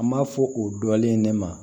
An m'a fɔ o dɔnlen ne ma